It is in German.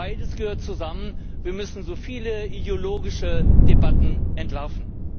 Beides gehört zusammen, wir müssen so viele ideologische Debatten entlarven.